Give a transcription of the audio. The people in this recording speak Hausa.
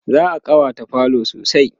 za'a ƙawata falo sosai